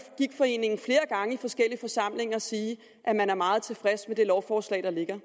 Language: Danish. gigtforeningen flere gange og i forskellige forsamlinger sige at man er meget tilfreds med det lovforslag der ligger